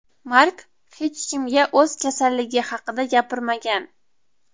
Mark hech kimga o‘z kasalligi haqida gapirmagan.